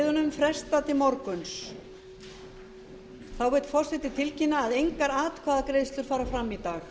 frestað til morguns þá vill forseti tilkynna að engar atkvæðagreiðslur fara fram í dag